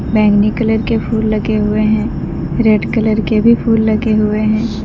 बैगनी कलर के फूल लगे हुए हैं रेड कलर के भी फूल लगे हुए हैं।